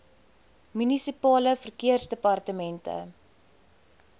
munisipale verkeersdepartemente